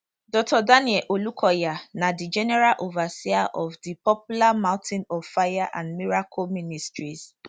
dr daniel olukoya na di general overseer of di popular mountain of fire and miracle ministries